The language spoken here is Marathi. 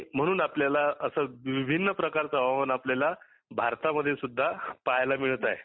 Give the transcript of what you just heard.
म्हणून आपल्याला अस विभिन्न प्रकारच हवामान आपल्याला भारतामध्ये सुद्धा पाहायला मिळत आहे.